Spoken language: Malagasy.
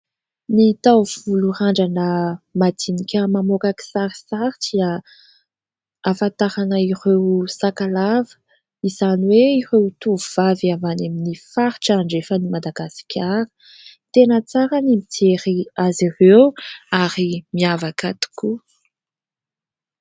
Ny taovolo randrana madinika mamoaka kisarisary dia ahafantarana ireo sakalava. Izany hoe ireo tovovavy avy any amin'ny faritra andrefan' i Madagasikara. Tena tsara ny mijery azy ireo ary miavaka tokoa.